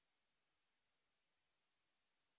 এই বিষয় বিস্তারিত তথ্য এই লিঙ্ক এ প্রাপ্তিসাধ্য